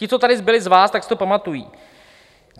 Ti, co tady byli z vás, tak si to pamatují.